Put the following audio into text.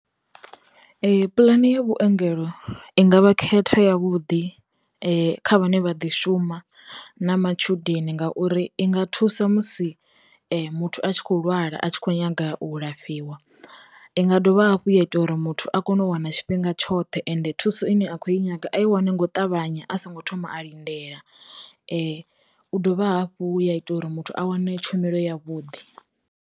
Ee, pulani ya vhuengelo i ngavha khetha ya vhuḓi kha vhane vha ḓi shuma na matshudeni ngauri, i nga thusa musi muthu a tshi kho lwala a tshi kho nyaga u lafhiwa, inga dovha hafhu ya ita uri muthu a kone u wana tshifhinga tshoṱhe, ende thuso ine a khou i nyaga a i wane ngo ṱavhanya a songo thoma a lindela, u dovha hafhu ya ita uri muthu a wane tshumelo ya vhuḓi.